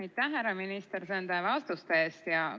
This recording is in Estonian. Aitäh, härra minister, nende vastuste eest!